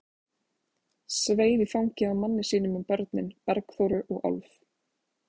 Sveif í fangið á manni sínum með börnin, Bergþóru og Álf.